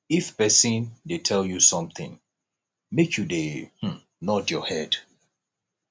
if person dey tell you something make you dey um nod your head